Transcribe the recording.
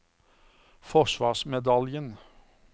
forsvarsmedaljen